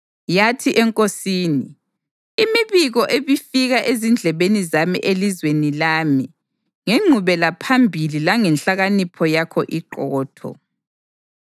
Yathi enkosini, “Imibiko ebifika ezindlebeni zami elizweni lami ngengqubelaphambili langenhlakanipho yakho iqotho.